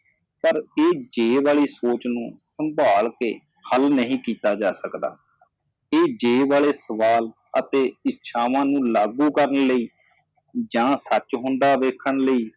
ਪਰ ਇਹ ਜੇ ਵਾਲੀ ਸੋਚ ਨੂੰ ਸੰਭਾਲ ਕੇ ਹੱਲ ਨਹੀ ਕੀਤਾ ਜਾ ਸਕਦਾ ਤੇ ਇਹ ਜੇ ਵਾਲੇ ਸਵਾਲ ਅਤੇ ਇਛਾਵਾਂ ਨੂੰ ਲਾਗੂ ਕਰਨ ਲਈ ਜਾ ਸੱਚ ਹੁੰਦਾ ਵੇਖਣ ਲਈ